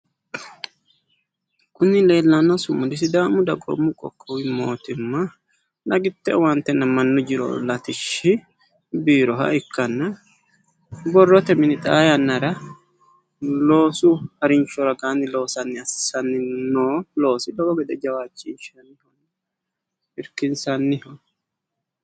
Kuni leellanno sumudi sidaamu dagoomu qoqqowi mootimma dagitte owaantenna mannu jiro latishshi biiroha ikkanna borrote mini xaa yaannara loosu harinsho ragaanni loosanni assanni noo loosi lowo gede jawaachinshanniho irkinsanniho.